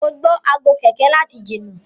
mọ gbó Aago kẹ̀kẹ́ láti jìnà.